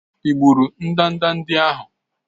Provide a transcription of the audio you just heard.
Ị gburu ndanda ndị ahụ?